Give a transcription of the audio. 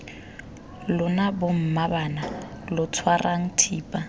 lona bommaabana lo tshwarang thipa